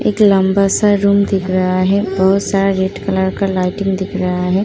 एक लंबा सा रूम दिख रहा है। बोहोत सारा रेड कलर का लाइटिंग दिख रहा है।